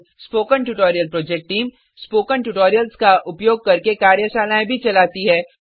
spoken tutorial project team spoken tutorials का उपयोग करके कार्यशालाएं भी चलाती है